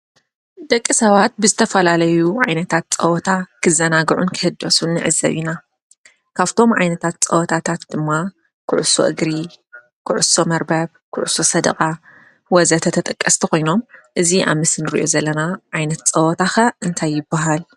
ደቂ ሰባት ብዝተፈላለዩ ዓይነታት ፀወታ ክዘናግዑን ክህደሱን ንዕዘብ ኢና፡፡ ካብቶም ዓይነታት ፀወታታት ድማ ኩዕሶ እግሪ፣ ኩዕሶ መርበብ፣ ኩዕሶ ሰደቃ ወ.ዘ.ተ ተጠቀስቲ ኾይኖም እዚ ኣብ ምስሊ ንሪኦ ዘለና ዓይነት ፀወታ ኸ እንታይ ይባሃል?